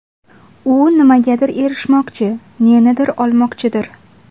U nimagadir erishmoqchi, nenidir olmoqchidir.